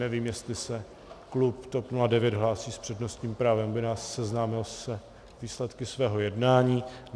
Nevím, jestli se klub TOP 09 hlásí s přednostním právem, aby nás seznámil s výsledky svého jednání?